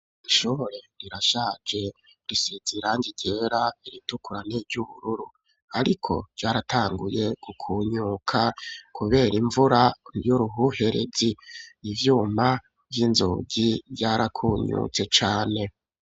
Ishobore rirashaje risize irangi ryera iritukura ni ryubururu ariko ryaratanguye gukunyuka kubera imvura y'uruhuherezi ivyuma vy'inzugi ryarakunyutse cane.